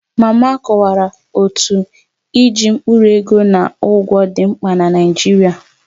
Mama kọwara otú iji mkpụrụ ego na ụgwọ dị mkpa na Naijiria